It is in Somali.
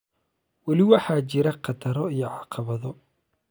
weli waxaa jira khataro iyo caqabado